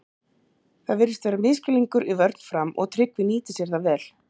Það virðist vera misskilningur í vörn Fram og Tryggvi nýtir sér það vel!